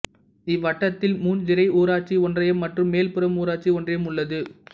இவ்வட்டத்தில் முஞ்சிறை ஊராட்சி ஒன்றியம் மற்றும் மேல்புறம் ஊராட்சி ஒன்றியம் உள்ளது